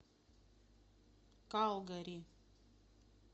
калгари